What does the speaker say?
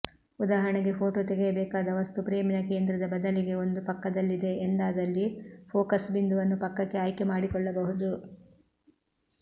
ಉದಾಹರಣೆಗೆ ಫೋಟೋ ತೆಗೆಯಬೇಕಾದ ವಸ್ತು ಫ್ರೇಮಿನ ಕೇಂದ್ರದ ಬದಲಿಗೆ ಒಂದು ಪಕ್ಕದಲ್ಲಿದೆ ಎಂದಾದಲ್ಲಿ ಫೋಕಸ್ ಬಿಂದುವನ್ನು ಪಕ್ಕಕ್ಕೆ ಆಯ್ಕೆ ಮಾಡಿಕೊಳ್ಳಬಹುದು